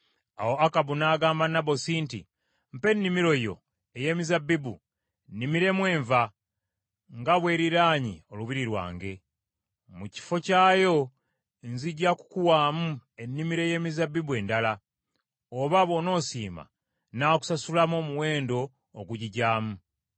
Awo Akabu n’agamba Nabosi nti, “Mpa ennimiro yo ey’emizabbibu nnimiremu enva, nga bw’eriraanye olubiri lwange. Mu kifo kyayo nzija kukuwaamu ennimiro ey’emizabbibu endala, oba bw’onoosiima, nnaakusasulamu omuwendo ogugigyamu.”